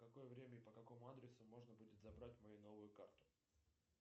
в какое время и по какому адресу можно будет забрать мою новую карту